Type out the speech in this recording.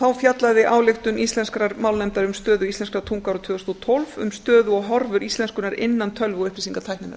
þá fjallaði ályktun íslenskrar málnefndar um stöðu íslenskrar tungu árið tvö þúsund og tólf um stöðu og horfur íslenskunnar innan tölvu og upplýsingatækninnar